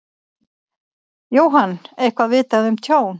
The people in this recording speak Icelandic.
Jóhann: Eitthvað vitað um tjón?